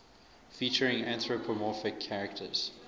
featuring anthropomorphic characters